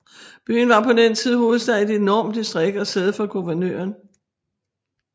Byen var på den tid hovedstad i et enormt distrikt og sæde for guvernøren